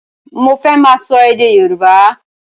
Mo fẹ́ máa sọ èdè Yorùbá.